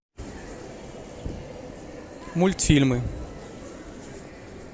мультфильмы